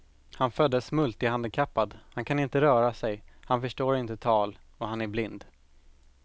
Han föddes multihandikappad, han kan inte röra sig, han förstår inte tal och han är blind.